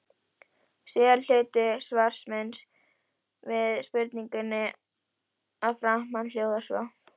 Síðari hluti svars míns við spurningunni að framan hljóðar svo